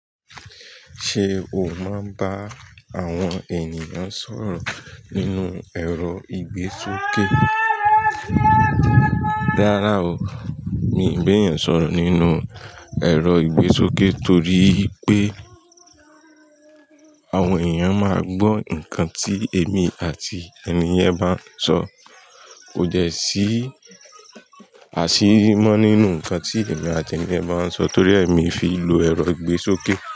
Ṣé o máa ń bá àwọn ènìyàn sọ̀rọ̀ nínú ẹ̀rọ ìgbésókè? Rárá o. Mi ò ń gbé èèyàn sọ̀rọ̀ nínú ẹ̀rọ ìgbésókè torí pé àwọn ènìyàn máa gbọ́ ǹkan tí èmi àti ènìyen bá ń sọ. Kò dẹ́ sí àṣírí mọ́ nínú ǹkan tí èmi àti ènìyen bá ń sọ torí mi fi ìlò ẹ̀rọ ìgbésókè.